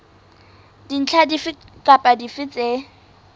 dintlha dife kapa dife tse